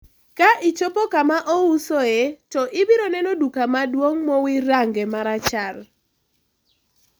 ka ichopo kama ousoe to ibiro neno duka maduong' mowir range marachar